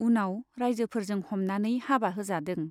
उनाव राइजोफोरजों हमनानै हाबा होजादों।